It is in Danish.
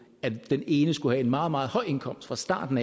at den ene skulle have en meget meget høj indkomst fra starten